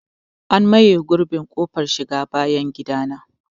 An maye gurbin ƙofar shiga bayan gidana.